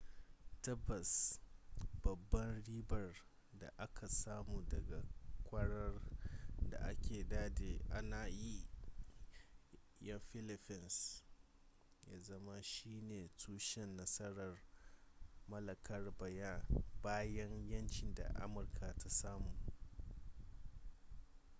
tabbas babban ribar da aka samu daga kwarar da aka dade ana yi wa 'yan filifins ya zama shi ne tushen nasarar mallakar bayan yanci da amurka ta samu